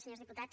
senyors diputats